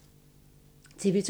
TV 2